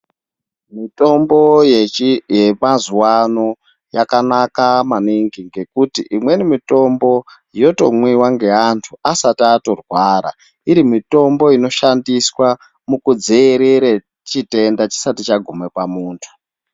Mitombo yemazuwano yakanaka maningi ngekuti imweni mitombo yotomwiwa ngeantu asati atorwara iri mitombo inoshandiswa mukudziirire chitenda chisati chaguma pamuntu.